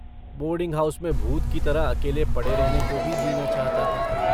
Boarding house में भूत की तरह अकेले पड़े रहने को भी जी न चाहता था।